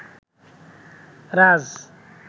রাজ